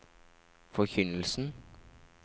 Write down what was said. forkynnelsen